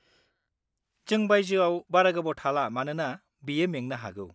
जों बायजोआव बारा गोबाव थाला मानोना बियो मेंनो हागौ।